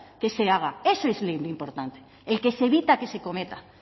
que se haga eso es lo importante el que se evita que se cometa